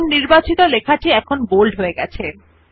দেখুন নির্বাচিত লেখা টি বোল্ড হয়ে গেছে